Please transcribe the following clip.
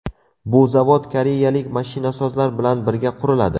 Bu zavod koreyalik mashinasozlar bilan birga quriladi.